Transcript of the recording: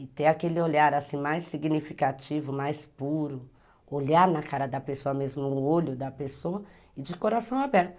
E ter aquele olhar assim mais significativo, mais puro, olhar na cara da pessoa mesmo, no olho da pessoa e de coração aberto.